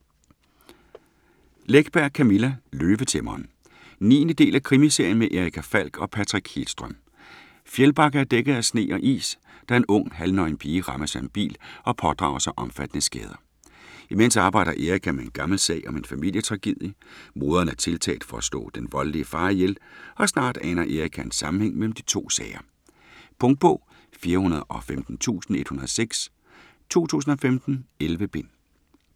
Läckberg, Camilla: Løvetæmmeren 9. del af krimiserien med Erica Falck og Patrik Hedström. Fjällbacka er dækket af sne og is, da en ung, halvnøgen pige rammes af en bil og pådrager sig omfattende skader. Imens arbejder Erica med en gammel sag om en familietragedie; moderen er tiltalt for at slå den voldelige far ihjel, og snart aner Erica en sammenhæng mellem de to sager. Punktbog 415106 2015. 11 bind.